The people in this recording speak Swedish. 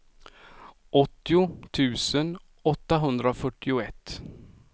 åttio tusen åttahundrafyrtioett